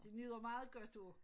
Det nyder meget godt af det